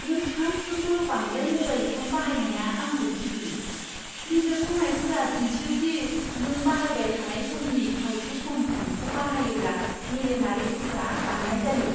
नों सानफ्रोमबो बांद्राय म'बाइल फ'न बाहायनाया आंखौ गिहोयो। बिजिरसंनायफोरा दिन्थियो दि नों बाहायबाय थानाय समनि खावसे सम फ'नखौ बाहायोब्ला मेलेमारि गोहोआ बाङाइ जायो।